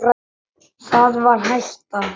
Það var hættan.